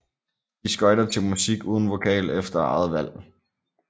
De skøjter til musik uden vokal efter eget valg